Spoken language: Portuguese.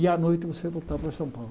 E à noite você voltava para São Paulo.